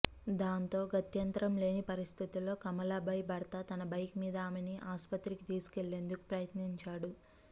దాంతో గత్యంతరం లేని పరిస్థితుల్లో కమలాభాయ్ భర్త తన బైక్ మీద ఆమెని ఆస్పత్రికి తీసుకెళ్లేందుకు ప్రయత్నించాడు